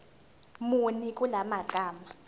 muni kula magama